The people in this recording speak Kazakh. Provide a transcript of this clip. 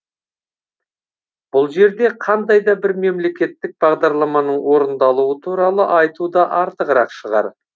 бұл жерде қандай да бір мемлекеттік бағдарламаның орындалуы туралы айту да артығырақ шығар